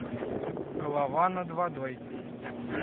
голова над водой